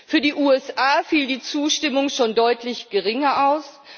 Für die USA fiel die Zustimmung schon deutlich geringer aus.